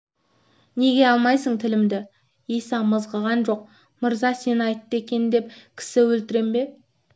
неге алмайсың тілімді иса мызғыған жоқ мырза сен айтты екен деп кісі өлтірем бе